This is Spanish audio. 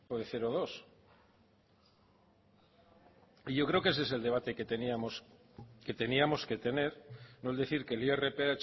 de zero koma bi y yo creo que ese es el debate que teníamos que tener no el decir que el irph